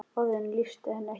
Orðin lýstu henni ekki.